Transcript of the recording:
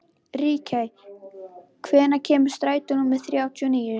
Ríkey, hvenær kemur strætó númer þrjátíu og níu?